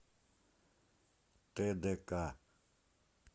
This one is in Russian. тдк